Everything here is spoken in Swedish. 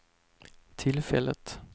tillfället